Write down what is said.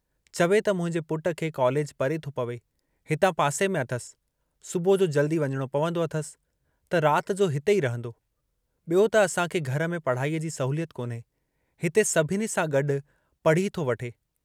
चवे त मुंहिंजे पुटु खे कॉलेज परे थो पवे हिता पासे में अथसि, सुबुह जो जल्दी वञणो पवंदो अथसि त रात जो हिते ई रंहदो, ॿियो त असांखे घर में पढ़ाईअ जी सहुलियत कोन्हे, हिते सभिनी सां गॾु पढ़ी थो वठे।